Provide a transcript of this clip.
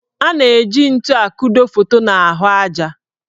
A na-eji ntu akudo foto n' ahụ aja.